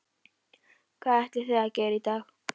Hvað ætlið þið að gera í dag?